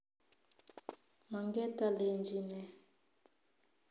Manget alenji ne?